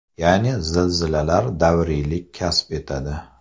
Ya’ni, zilzilalar davriylik kasb etadi.